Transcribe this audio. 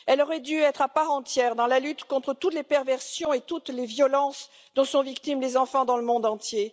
Elle aurait dû, à part entière, être en lutte contre toutes les perversions et toutes les violences dont sont victimes les enfants dans le monde entier.